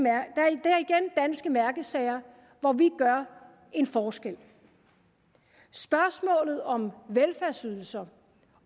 mærkesager hvor vi gør en forskel spørgsmålet om velfærdsydelser